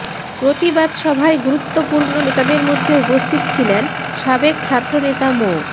প্রতিবাদ সভায় গুরুত্বপূর্ণ নেতাদের মধ্যে উপস্থিত ছিলেন সাবেক ছাত্রনেতা মো